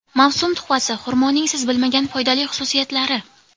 Mavsum tuhfasi: xurmoning siz bilmagan foydali xususiyatlari.